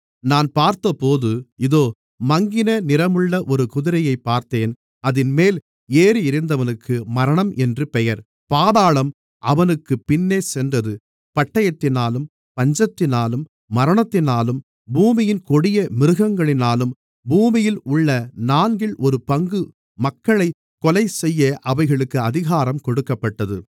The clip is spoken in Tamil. நான் பார்த்தபோது இதோ மங்கின நிறமுள்ள ஒரு குதிரையைப் பார்த்தேன் அதின்மேல் ஏறியிருந்தவனுக்கு மரணம் என்று பெயர் பாதாளம் அவனுக்குப் பின்னே சென்றது பட்டயத்தினாலும் பஞ்சத்தினாலும் மரணத்தினாலும் பூமியின் கொடிய மிருகங்களினாலும் பூமியில் உள்ள நான்கில் ஒரு பங்கு மக்களைக் கொலைசெய்ய அவைகளுக்கு அதிகாரம் கொடுக்கப்பட்டது